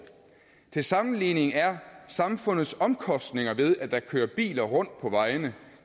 til sammenligning er samfundets omkostninger ved at der kører biler rundt på vejene